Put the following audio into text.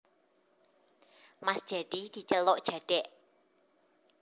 Mas Jadi diceluk Jadèk